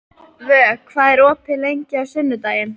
Vök, hvað er opið lengi á sunnudaginn?